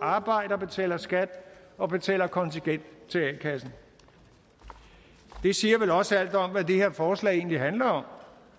arbejder og betaler skat og betaler kontingent til a kassen det siger vel også alt om hvad det her forslag egentlig handler om